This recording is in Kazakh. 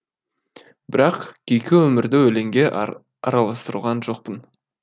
бірақ күйкі өмірді өлеңге араластырған жоқпын